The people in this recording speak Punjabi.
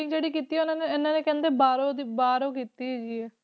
ਜਿਹੜੀ ਕੀਤੀ ਆ ਉਹਨਾਂ ਨੇ ਇਹਨਾਂ ਨੇ ਕਹਿੰਦੇ ਬਾਹਰੋਂ ਦੀ ਬਾਹਰੋਂ ਕੀਤੀ ਹੈਗੀ ਹੈ,